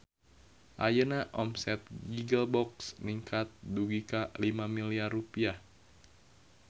Ayeuna omset Giggle Box ningkat dugi ka 5 miliar rupiah